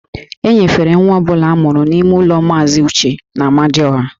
E nyefere nwa ọ bụla a mụrụ n'ime ụlọ Maazị Uche n'Amadịọha